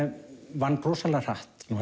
vann rosalega hratt var